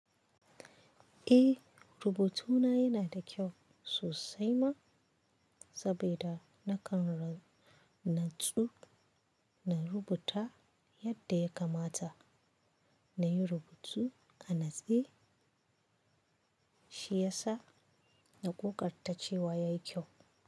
Eh, rubutuna yana da kyau sosai ma saboda nakan natsu na rubuta yadda ya kamata, na yi rubutu a natse shiyasa na gogartacewa ya yi kyau.